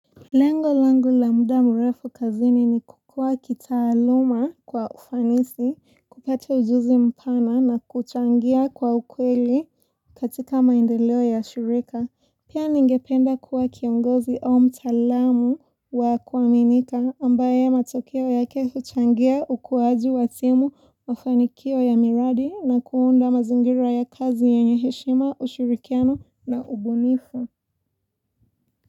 Lengo langu la muda mrefu kazini ni kukua kitaaluma kwa ufanisi, kupata ujuzi mpana na kuchangia kwa ukweli katika maendeleo ya shirika. Pia ningependa kuwa kiongozi au mtaalamu wa kuaminika ambaye matokeo yake huchangia ukuwaju wa timu mfanikio ya miradi na kuunda mazingira ya kazi yenyeheshima, ushurikiano na ubunifu.